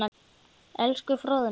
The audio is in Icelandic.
Elsku Fróðný.